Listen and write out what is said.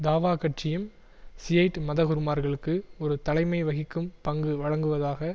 தாவா கட்சியும் ஷியைட் மதகுருமார்களுக்கு ஒரு தலைமைவகிக்கும் பங்கு வழங்குவதாக